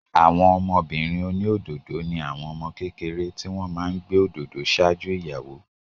Àwọn ọmọbìnrin oní òdòdó ni àwọn ọmọ kékeré tí wọn máa ń gbé òdòdó ṣáájú ìyàwó